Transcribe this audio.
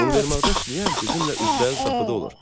Univermağda işləyən bizimlə üzbəüz qapıda olur.